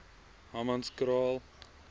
humanskraal